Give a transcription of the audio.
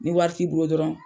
Ni wari ti bolo dɔrɔn.